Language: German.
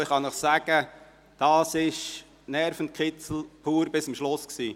Ich kann Ihnen sagen: Dies war ein Nervenkitzel bis zum Schluss.